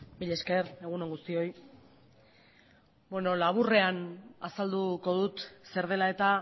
mila esker egun on guztioi bueno laburrean azalduko dut zer dela eta